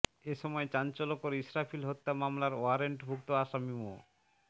এ সময় চাঞ্চল্যকর ইস্রাফিল হত্যা মামলার ওয়ারেন্টভুক্ত আসামি মো